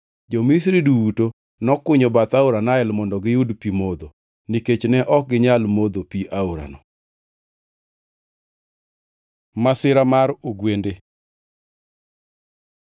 Jo-Misri duto nokunyo bath aora Nael mondo giyud pi modho, nikech ne ok ginyal modho pi aorano. Masira mar ogwende